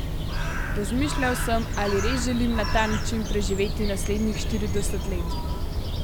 Razmišljal sem, ali res želim na ta način preživeti naslednjih štirideset let.